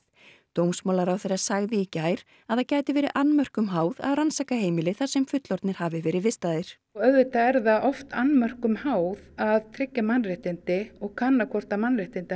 dómsmálaráðherra sagði í gær að það gæti verði annmörkum háð að rannsaka heimili þar sem fullorðnir hafi verið vistaðir auðvitað er það oft annmörkum háð að tryggja mannréttindi og kanna hvort mannréttindi